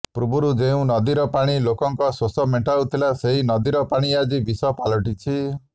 ପୂର୍ବରୁ ଯେଉଁ ନଦୀର ପାଣି ଲୋକଙ୍କ ଶୋଷ ମେଣ୍ଟାଉଥିଲା ସେହି ନଦୀର ପାଣି ଆଜି ବିଷ ପାଳିଟିଛି